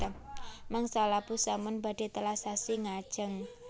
Mangsa labuh sampun badhe telas sasi ngajeng